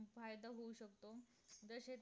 फायदा होऊ शकतो जसे